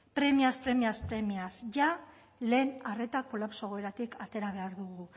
premiaz premiaz premiaz jada lehen arreta kolapso egoeratik atera behar dugu